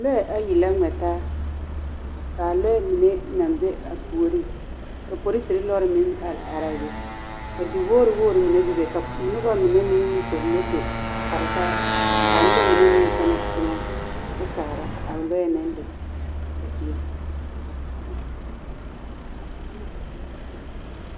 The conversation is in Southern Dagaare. Lɔɛ ayi la ngmɛ taa kaa lɔɛ mine naŋ be a puoriŋ ka poriserre lɔre meŋ are araa be ka di wogre wogre nine bebe ka nobɔ mine meŋ yi zɔŋ moto a kpare taa kaa nobɔ mine meŋ kyɛnɛ a teŋɛ kyɛ kaara a lɔɛ naŋ le a zie.